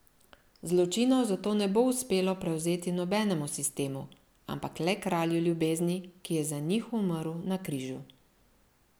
Zločinov zato ne bo uspelo prevzeti nobenemu sistemu, ampak le Kralju ljubezni, ki je za njih umrl na križu.